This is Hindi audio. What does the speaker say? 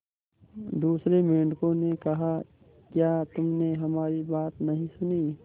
दूसरे मेंढकों ने कहा क्या तुमने हमारी बात नहीं सुनी